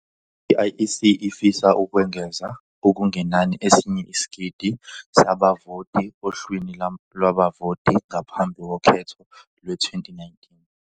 I-IEC ifisa ukwengeza okungenani esinye isigidi sabavoti ohlwini lwabavoti ngaphambi kokhetho lowezi-2019.